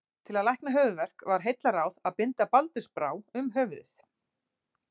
Til að lækna höfuðverk var heillaráð að binda baldursbrá um höfuðið.